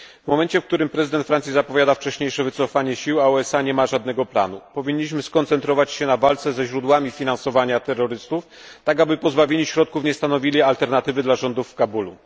W momencie, w którym prezydent Francji zapowiada wcześniejsze wycofanie sił, a USA nie ma żadnego planu, powinniśmy skoncentrować się na walce ze źródłami finansowania terrorystów, tak aby pozbawieni środków nie stanowili alternatywy dla rządu w Kabulu.